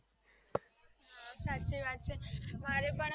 હા સાચી વાત છે મારે પણ